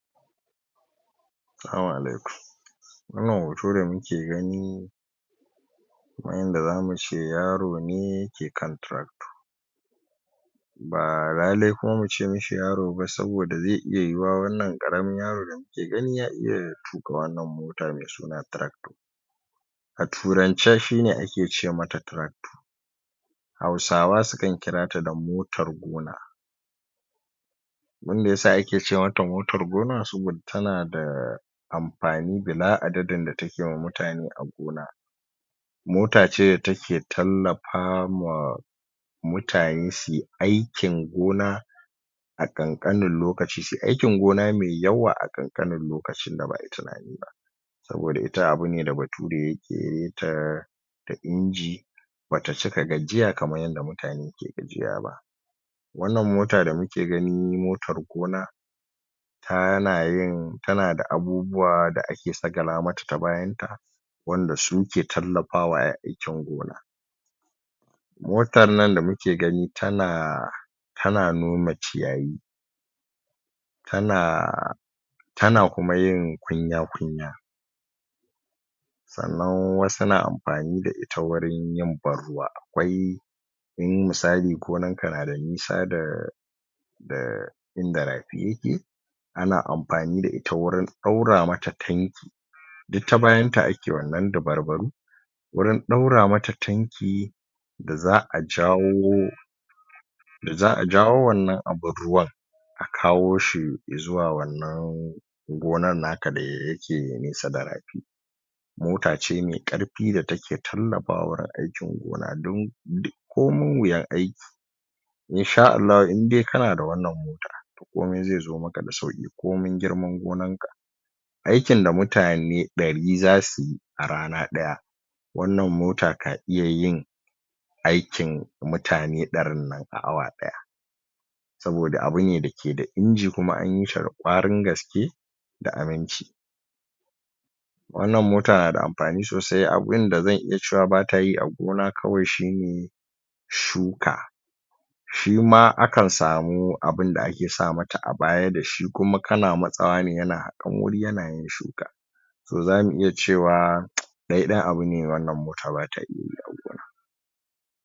salamu alaikum wannan hoto da muke gani kaman yadda zamu ce yaro ne ke kan tractor ba lale kuma muce mishi yaro ba saboda zai iya yiwuwa wannan ƙaramin yaron idan ya iya tuƙa wannan mota me suna tractor a turance shi ne ake ce mata tractor Hausawa sukan kira ta da motar gona abinda yasa ake ce mata motar gona saboda tana da amfani bila adadin da take ma mutane a gona mota ce da take tallafa ma mutane suyi aikin gona a ƙanƙanin lokaci suyi aikin gona me yawa a ƙanƙanin lokacin da ba'ai tunani ba saboda ita abu ne da bature ya ƙirƙire ta ta inji bata cika gajiya kaman yadda mutane ke gajiya ba wannan mota da muke gani motar gona tana yin tana da abubuwa da ake sagala mata ta bayan ta wanda suke tallafawa a yi aikin gona motan nan da muke gani tana tana nome ciyayi tana tana kuma yin kunya-kunya sannan wasu na amfani da ita wurin yin ban ruwa, akwai in misali gonan ka na da nisa da da inda rafi yake ana amfani da ita wurin ɗaura mata tanki duk ta bayan ta ake wannan dabarbaru wurin ɗaura mata tanki da za'a jawo da za'a jawo wannan abin ruwan a kawo shi i zuwa wannan gonan naka da yake nesa da rafi mota ce mai ƙarfi da take tallafawa wurin aikin gona dan duk komin wuyan aiki insha Allahu in dai kana da wannan mota komai zai zo maka da sauƙi komin girman gonan ka aikin da mutane ɗari zasu yi a rana ɗaya wannan mota ka iya yin aikin mutane ɗarin nan a awa ɗaya saboda abu ne dake da injin kuma an yi shi da ƙwarin gaske da aminci wannan mota na da amfani sosai a inda zan iya cewa bata yi a gona kawai shi ne shuka shi ma akan samu abunda ake sa mata a baya da shi kuma kana matsawa ne yana haƙan wuri yana yin shuka so zamu iya cewa ɗaiɗai abu ne wannan mota bata yi a gona.